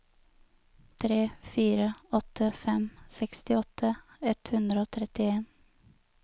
tre fire åtte fem sekstiåtte ett hundre og trettien